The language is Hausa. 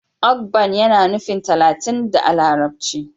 Ogban yana nufin talatin a yarbanci.